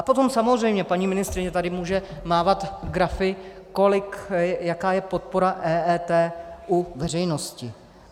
A potom samozřejmě paní ministryně tady může mávat grafy, jaká je podpora EET u veřejnosti.